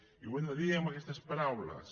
i ho hem de dir amb aquestes paraules